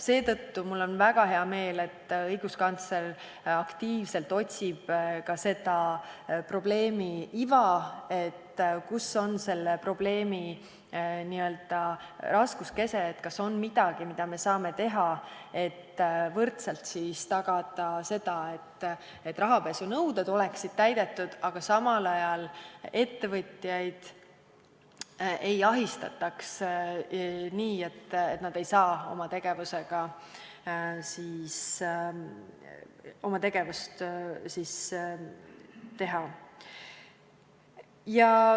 Seetõttu on mul väga hea meel, et õiguskantsler otsib aktiivselt ka probleemi iva, seda, kus on selle probleemi raskuskese, kas on midagi, mida me saame teha, et võrdselt tagada, et rahapesunõuded oleksid täidetud, aga samal ajal ettevõtjaid ei ahistataks nii, et nad ei saa tegutseda.